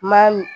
Ma mi